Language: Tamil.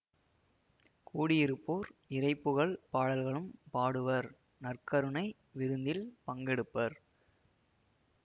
கூடியிருப்போர் இறைபுகழ் பாடல்களும் பாடுவர் நற்கருணை விருந்தில் பங்கெடுப்பர்